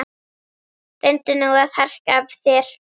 Reyndu nú að harka af þér